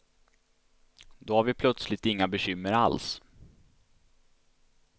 Då har vi plötsligt inga bekymmer alls.